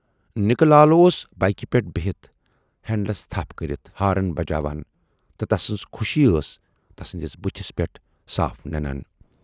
نِکہٕ لال اوس بایِکہٕ پٮ۪ٹھ بِہِتھ ہنڈلس تھپھ کٔرِتھ ہارن بجاوان تہٕ تسٕنز خوشی ٲس تسٕندِس بُتھِس پٮ۪ٹھ صاف ننان۔